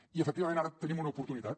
i efectivament ara tenim una oportunitat